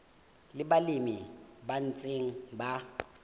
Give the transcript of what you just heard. le balemi ba ntseng ba